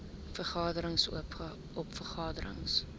vergaderings oop vergaderings